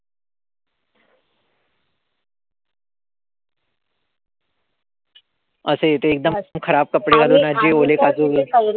असे अगदी खराब कपडे घालून अगदी ओले काजू,